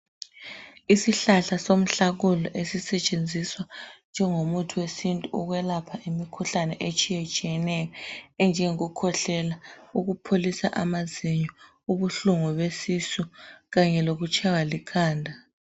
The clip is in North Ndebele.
Isihlahla somhlakunye esisetshenziswa njengomuthi wesintu ukwelapha imikhuhlane etshiyetshiyeneyo enjengokukhwehlela ,ukupholisa amazinyo, ubuhlungu besisu kanye lokutshaywa likhanda.